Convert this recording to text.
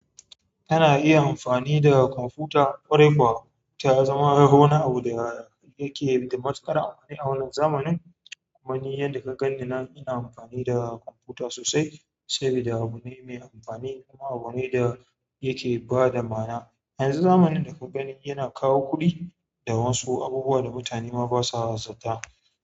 Tana iya amfani da kwamfuta ƙwarai kuwa ta zama wani abu da yake da matuƙar amfani a wannan zamanin. Kuma ni yadda ka ganni nan ina amfani da kwamfuta sosai saboda abu ne mai amfani kuma abune da yake ba da ma'ana. A yanzu zamanin daka gani yana kawo kuɗi da wasu abubuwa da mutane ma ba sa zata.